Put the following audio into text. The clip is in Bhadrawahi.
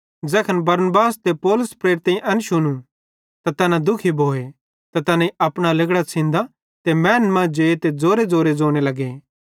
ज़ैखन बरनबास ते पौलुस प्रेरितेईं एन शुनू त तैना दुखी भोए ते तैनेईं अपना लिगड़ां छ़िन्दां ते मैनन् मां जे ते ज़ोरेज़ोरे ज़ोने लगे